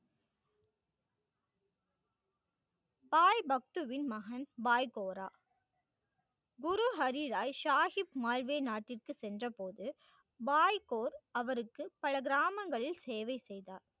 பாய் பக்த்துவின் மகன் பாய் கோரா. குரு ஹரிராய், ஷாகிப் மால்வே நாட்டிற்கு சென்ற போது வாய்க்கோர் அவருக்கு பல கிராமங்களில் சேவை செய்தார்.